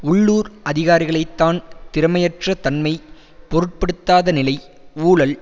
உள்ளூர் அதிகாரிகளைத்தான் திறமையற்ற தன்மை பொருட்படுத்தாத நிலை ஊழல்